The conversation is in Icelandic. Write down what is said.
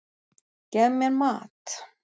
Gef mér mat!